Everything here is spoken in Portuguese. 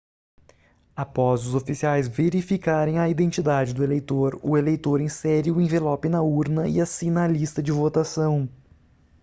após os oficiais verificarem a identidade do eleitor o eleitor insere o envelope na urna e assina a lista de votação